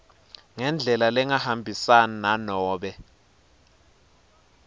ngendlela lengahambisani nanobe